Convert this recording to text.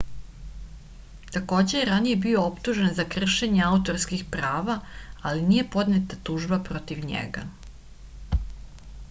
takođe je ranije bio optužen za kršenje autorskih prava ali nije podneta tužba protiv njega